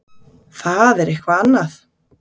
Það er eitthvað annað.